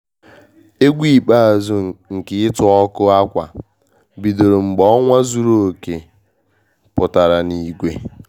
Egwu ikpeazụ nke ịtụ ọkụ ákwà bidoro mgbe ọnwa zuru oke pụtara n'igwe